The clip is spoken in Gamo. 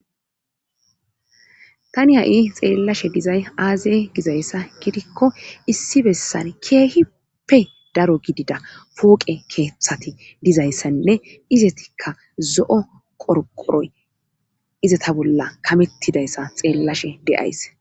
tani ha7i xeellashe dizay aazey gizayssa gidikko issi bessan keehippe daro gidida pooqe keeththati dizayssanne izatikka zo7o qorqoroy izata bolla kamettidayssa xeellashe deyays